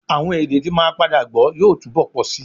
Àwọn èdè t́ màá padà gbọ́ yóò túbọ̀ pọ̀ síi